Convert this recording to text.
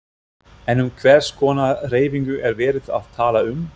En um hvers konar hreyfingu er verið að tala um?